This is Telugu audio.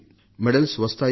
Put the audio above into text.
పతకాలు వస్తాయి